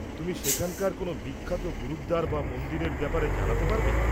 তুমি সেখানকার কোনও বিখ্যাত গুরুদ্বার বা মন্দিরের ব্যাপারে জানাতে পারবে?